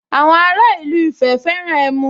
Àwọn ara ìlú Ifẹ̀ fẹ́ràn ẹmu